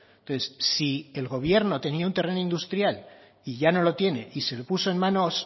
entonces si el gobierno tenía un terreno industrial y ya no lo tiene y se lo puso en manos